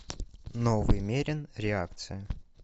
новый мерин реакция